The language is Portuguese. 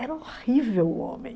Era horrível o homem.